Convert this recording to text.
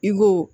I ko